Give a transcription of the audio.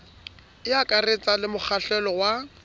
e akaretsang le mokgahlelo wa